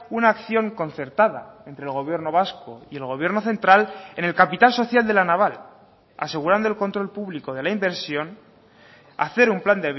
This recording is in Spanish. una acción concertada entre el gobierno vasco y el gobierno central en el capital social de la naval asegurando el control público de la inversión hacer un plan